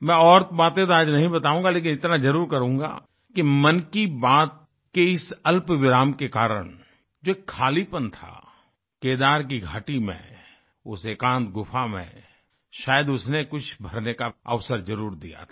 मैं और बातें तो आज नहीं बताऊंगा लेकिन इतना जरुर करूँगा कि मन की बात के इस अल्पविराम के कारण जो खालीपन था केदार की घाटी में उस एकांत गुफा में शायद उसने कुछ भरने का अवसर जरूर दिया था